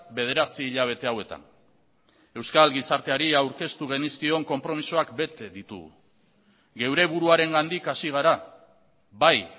bederatzi hilabete hauetan euskal gizarteari aurkeztu genizkion konpromisoak bete ditugu geure buruarengandik hasi gara bai